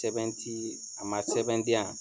Sɛbɛn ti a man sɛbɛn di yan.